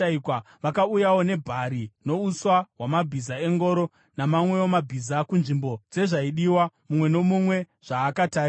Vakauyawo nebhari nouswa hwamabhiza engoro namamwewo mabhiza kunzvimbo dzezvaidiwa, mumwe nomumwe zvaakatarirwa.